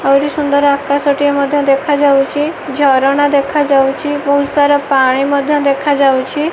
ଆହୁରି ସୁନ୍ଦର ଆକାଶ ଟେ ମଧ୍ୟ ଦେଖା ଯାଉଚି ଝରଣା ଦେଖା ଯାଉଚି ବହୁତ ସାରା ପାଣି ମଧ୍ୟ ଦେଖା ଯାଉଚି ।